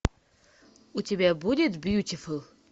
у тебя будет бьютифул